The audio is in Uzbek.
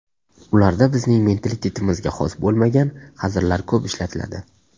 Ularda bizning mentalitetimizga xos bo‘lmagan hazillar ko‘p ishlatiladi.